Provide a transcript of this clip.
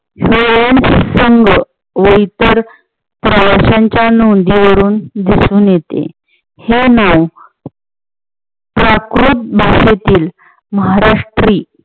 संघ व इतर प्रवास्यांच्या नोंदीवरून दिसून येते. हे नाव प्राकृत भाषेतील महाराष्ट्री